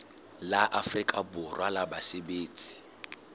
la afrika borwa la basebetsi